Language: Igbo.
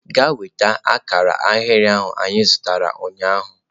Gaa nweta akara ahịrị ahụ anyị zụtara ụnyaahụ!.